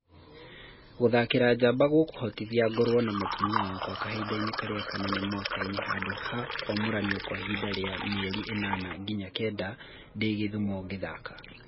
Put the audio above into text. Gũthakĩra Njaba gũkũhotithia ngorũo na mũtumia wakwa kahinda karĩa kanene mwakainĩ handũ ha kũamũranio kwa ihinda ria mĩeri ĩnana nginya kenda ndĩ Gĩthumo ngĩthaka.